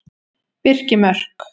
Birkimörk